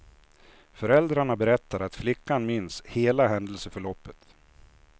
Föräldrarna berättar att flickan minns hela händelseförloppet.